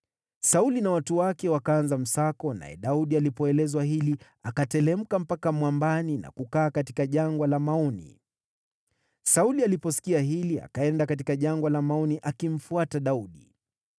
Sauli na watu wake wakaanza msako, naye Daudi alipoelezwa hili, akateremka mpaka mwambani na kukaa katika Jangwa la Maoni. Sauli aliposikia hili, akaenda katika Jangwa la Maoni akimfuata Daudi.